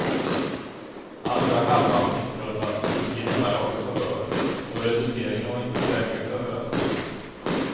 Andra halvan av mittrundan gick i hemmalagets favör och reduceringen var inte särskilt överraskande.